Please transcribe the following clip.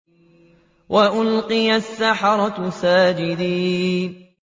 وَأُلْقِيَ السَّحَرَةُ سَاجِدِينَ